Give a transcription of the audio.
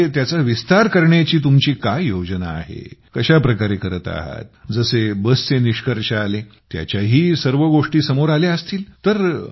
आणि पुढे त्याचा विस्तार करण्याची तुमची काय योजना आहे कशा प्रकारे करत आहात जसे बसचे निष्कर्ष आले त्याच्याही सर्व गोष्टी समोर आल्या असतील